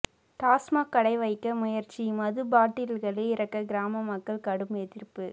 டாஸ்மாக் கடை வைக்க முயற்சி மது பாட்டில்களை இறக்க கிராம மக்கள் கடும் எதிர்ப்பு